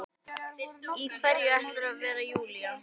Í hverju ætlarðu að vera Júlía?